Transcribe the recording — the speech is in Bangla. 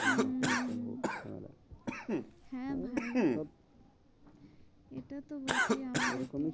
হম হম হম হম হ্যাঁ ভাই সব এটা তো বটেই।